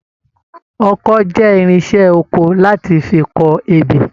Ọkọ́ jẹ irinṣẹ́ oko láti fí kọ ebè.